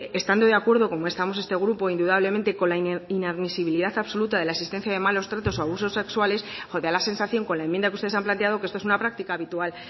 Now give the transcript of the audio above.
estando ce acuerdo como estamos este grupo indudablemente con la inadmisibilidad absoluta de la existencia de malos tratos o abusos sexuales da la sensación con la enmienda que ustedes han planteado que esto es una práctica habitual